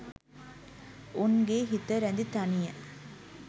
උන්ගේ හිත රැඳි තනිය